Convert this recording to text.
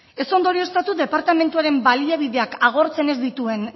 ez ondorioztatu departamentuaren baliabideak agortzen ez dituen